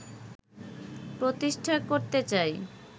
প্রতিষ্ঠা করতে চাই